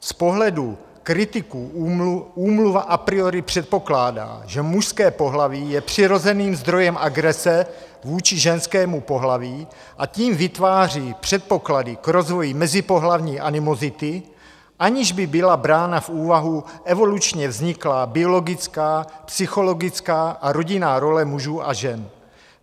Z pohledu kritiků Úmluva a priori předpokládá, že mužské pohlaví je přirozeným zdrojem agrese vůči ženskému pohlaví a tím vytváří předpoklady k rozvoji mezipohlavní animozity, aniž by byla brána v úvahu evolučně vzniklá biologická, psychologická a rodinná role mužů a žen.